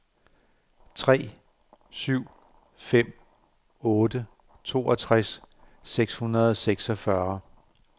tre syv fem otte toogtres seks hundrede og seksogfyrre